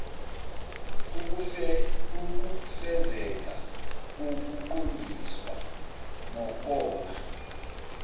ukufezeka kokuqondiswa nokonga